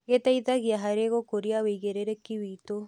Gĩteithagia harĩ gũkũria wĩigĩrĩrĩki witũ.